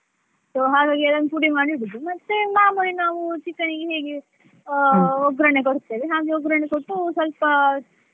So ಹಾಗಾಗಿ ಅದನ್ನು ಪುಡಿ ಮಾಡಿ ಇಡುದು ಮತ್ತೆ ಮಾಮೂಲಿ ನಾವು chicken ಗೆ ಹೇಗೆ ಅಹ್ ಒಗ್ರಣೆ ಕೊಡ್ತೇವೆ ಹಾಗೆ ಒಗ್ರಣೆ ಕೊಟ್ಟು ಸ್ವಲ್ಪ.